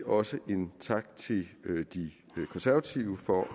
også en tak til de konservative for at